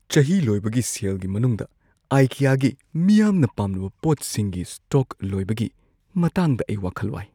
ꯆꯍꯤ ꯂꯣꯏꯕꯒꯤ ꯁꯦꯜꯒꯤ ꯃꯅꯨꯡꯗ ꯑꯥꯏꯀꯤꯌꯥꯒꯤ ꯃꯤꯌꯥꯝꯅ ꯄꯥꯝꯅꯕ ꯄꯣꯠꯁꯤꯡꯒꯤ ꯁ꯭ꯇꯣꯛ ꯂꯣꯏꯕꯒꯤ ꯃꯇꯥꯡꯗ ꯑꯩ ꯋꯥꯈꯜ ꯋꯥꯏ꯫